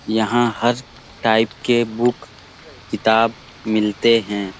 यहाँ हर टाइप के बुक किताब मिलते हैं ।